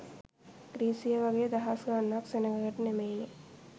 ග්‍රීසියේ වගේ දහස් ගණනක් සෙනගකට නෙමෙයිනෙ.